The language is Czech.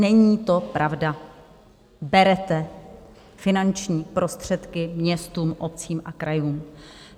Není to pravda, berete finanční prostředky městům, obcím a krajům.